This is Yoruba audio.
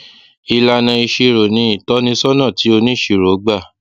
ìlànà ìṣirò ni ìtọsọnà tí oníṣirò gbà